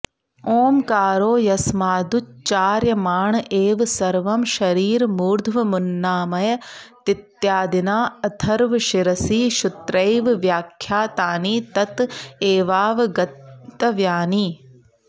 ॐकारो यस्मादुच्चार्यमाण एव सर्वं शरीरमूर्ध्वमुन्नामयतीत्यादिना अथर्वशिरसि श्रुत्यैव व्याख्यातानि तत एवावगन्तव्यानि